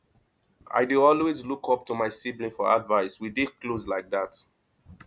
i dey always look up to siblings for advice we dey close like dat